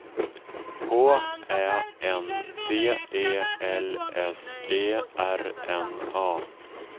H Ä N D E L S E R N A